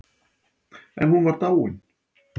En hún var dáin.